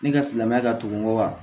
Ne ka silamɛya ka dɔgɔn wa